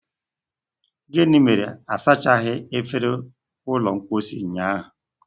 gịnị mere na-asachaghị efere ụlọ mposi ụnyaahụ?